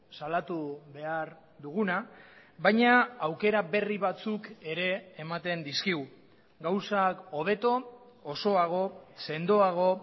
salatu behar duguna baina aukera berri batzuk ere ematen dizkigu gauzak hobeto osoago sendoago